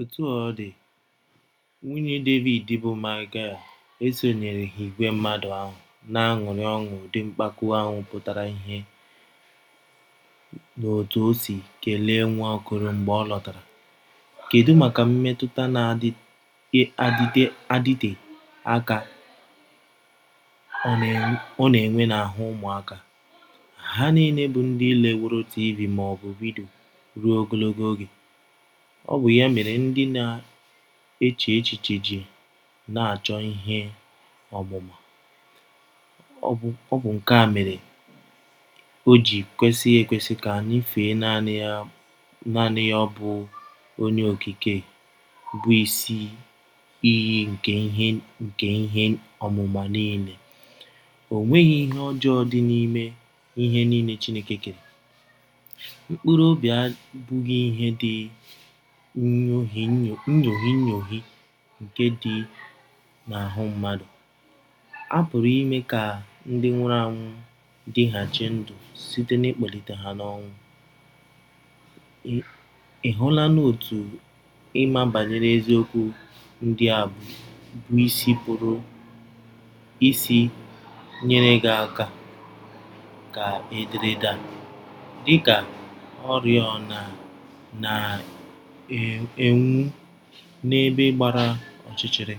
Otú ọ dị, nwunye Devid bụ́ Maịkal, esonyereghị ìgwè mmadụ ahụ na - aṅụrị ọṅụ Ụdị mpako ahụ pụtara ìhè n’otú o si kelee Nwaokolo mgbe ọ lọtara. Kedu maka mmetụta na - adịte aka ọ na - enwe n’ahụ́ ụmụaka? Ha niile bụ ndị leworo TV maọbụ vidio ruo ogologo oge. Ọ bụ ya mere ndị na - eche echiche ji na - achọ ihe ọmụma. Ọ bụ nke a mere o ji kwesị ekwesị ka anyị fee naanị ya Ọ bụ Onye Okike bụ Isi Iyi nke ihe nke ihe ọmụma niile. O nweghi ihe ọjọọ dị n’ime ihe niile Chineke kere. Mkpụrụ obi abụghị ihe dị inyoghi inyoghi nke dị n’ahụ́ mmadụ. A pụrụ ime ka ndị nwụrụ anwụ dịghachi ndụ site n’ịkpọlite ha n’ọnwụ. Ị̀ hụlanụ otú ịma banyere eziokwu ndị a bụ́ isi pụrụ isi nyere gị aka Ka ederede a, dị ka “ oriọna na - enwu n’ebe gbara ọchịchịrị, ”